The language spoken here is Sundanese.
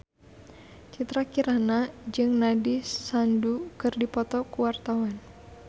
Citra Kirana jeung Nandish Sandhu keur dipoto ku wartawan